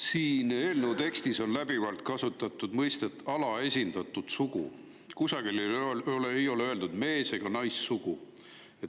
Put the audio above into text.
Siin eelnõu tekstis on läbivalt kasutatud mõistet "alaesindatud sugu", kusagil ei ole mainitud ei mees- ega naissugu.